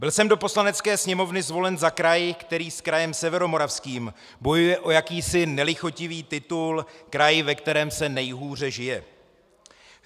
Byl jsem do Poslanecké sněmovny zvolen za kraj, který s krajem Severomoravským bojuje o jakýsi nelichotivý titul "kraj, ve kterém se nejhůře žije".